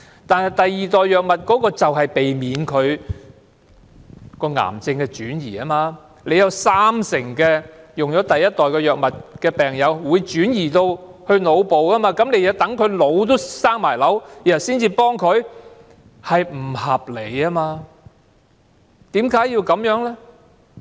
但是，第二代藥物就是要避免癌症的轉移，有三成服用第一代藥物的病人的癌症會轉移到腦部，但當局要待病人腦部也生瘤才予以協助，這是不合理的。